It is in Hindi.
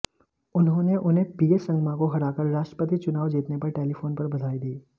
उन्होंने उन्हें पी ए संगमा को हराकर राष्ट्रपति चुनाव जीतने पर टेलीफोन पर बधाई दी